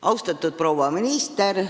Austatud proua minister!